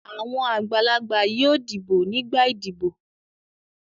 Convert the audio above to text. Àwọn àgbàlagbà yóò dìbò nígbà ìdìbò.